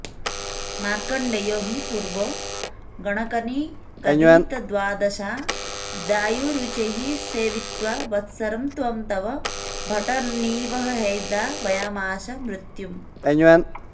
मार्कण्डेयो हि पूर्वं गणकनिगदितद्वादशाब्दायुरुच्चैः सेवित्वा वत्सरं त्वां तव भटनिवहैर्द्रावयामास मृत्युम्